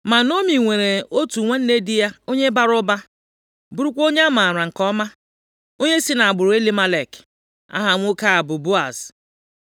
Ma Naomi nwere otu nwanne di ya, onye bara ụba, bụrụkwa onye a maara nke ọma, onye si nʼagbụrụ Elimelek. Aha nwoke a bụ Boaz.